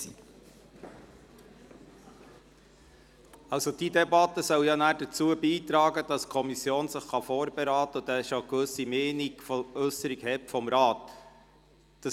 Diese Debatte soll dazu beitragen, dass die Kommission anschliessend vorberaten kann und sie gewisse Meinungsäusserungen aus dem Rat bereits kennt.